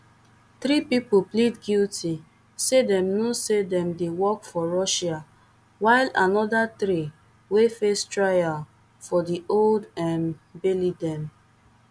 three pipo plead guilty say dem know say dem dey work for russia whileanoda three wey face trial for di old um baileydem